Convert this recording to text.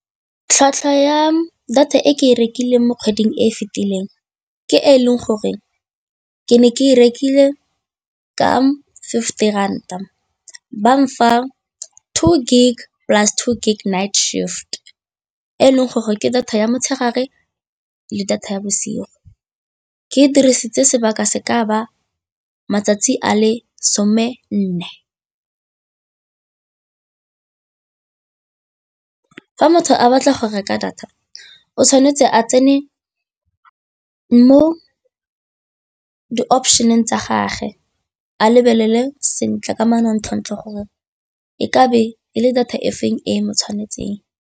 Tlhwatlhwa ya data e ke e rekileng mo kgweding e e fetileng ke e leng gore ke ne ke e rekile ka fifty ranta, bang fa two gig plus two gig night shift e leng gore ke data ya motshegare le data ya bosigo ke dirisitse sebaka se ka ba matsatsi a le some nne. Fa motho a batla go reka data o tshwanetse a tsene mo di-option-eng tsa gage a lebelele sentle ka manontlhotlho gore e ka be e le data e feng e mo tshwanetseng.